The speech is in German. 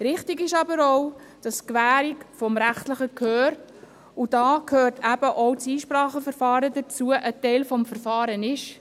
Richtig ist aber auch, dass die Gewährung des rechtlichen Gehörs, und dazu gehört auch das Einspracheverfahren, ein Teil des Verfahrens ist.